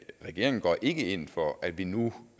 regeringen går ikke ind for at vi nu